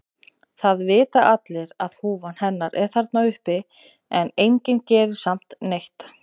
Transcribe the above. Það vita allir að húfan hennar er þarna uppi en enginn gerir samt neitt.